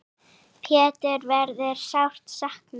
Péturs verður sárt saknað.